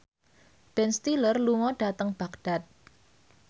Ben Stiller lunga dhateng Baghdad